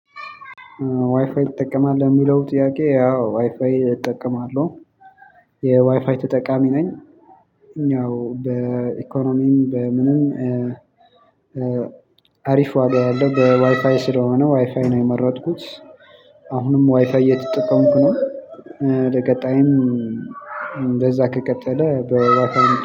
ዋይፋይ ትጠቀማለህ ለሚለው ጥያቄ? አዎ ዋይፋይ እጠቀማለሁ የዋይፋይ ተጠቃሚ ነኝ። እኛው በኢኮኖሚም በምንም። አሪፍ ዋጋ ያለው በዋይፋይ ስለሆነ ዋይፋይ ነው የመረጥኩት። አሁንም ዋይፋይ እየተጠቀምኩ ነው። ለቀጣይም እንደዛ ከቀጠለ በዋይፋይ